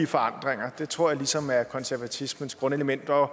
forandringer det tror jeg ligesom er konservatismens grundelement og